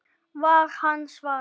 var hans svar.